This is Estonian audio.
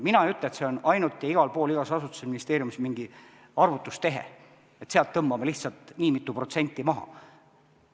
Mina ei ütle, et see on ainult ja igal pool igas asutuses ja ministeeriumis mingi arvutustehe, et tõmbame lihtsalt nii mitu protsenti maha.